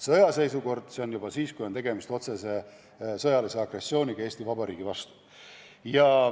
Sõjaseisukord on siis, kui tegemist on juba otsese sõjalise agressiooniga Eesti Vabariigi vastu.